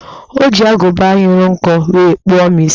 O ji agụba nyụrụ nkọ wee kpụọ m isi